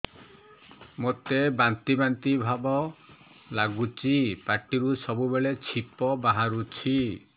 ମୋତେ ବାନ୍ତି ବାନ୍ତି ଭାବ ଲାଗୁଚି ପାଟିରୁ ସବୁ ବେଳେ ଛିପ ବାହାରୁଛି